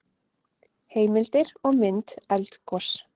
Heimildir og mynd Eldgos.